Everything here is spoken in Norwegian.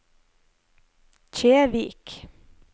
Kjevik